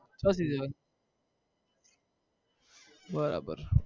છ season બરાબર